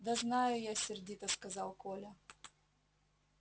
да знаю я сердито сказал коля